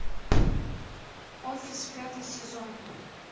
офис пятый сезон